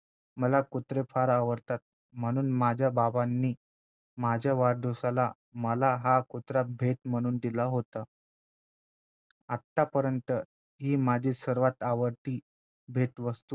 मला कुत्रे फार आवडतात म्हणून माझ्या बाबांनी माझ्या वाढदिवसाला मला हा कुत्रा भेट म्हणून दिला होता आतापर्यंत ही माझी सर्वात आवडती भेटवस्तू